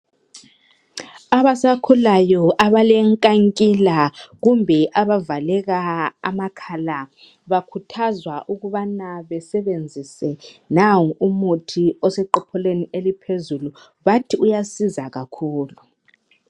Abasakhulayo abalenkankila kumbe abavaleka amakhala bakhuthazwa ukubana besebenzise nangu umuthi oseqopholweni eliphezulu, bathi uyasiza kakhulu.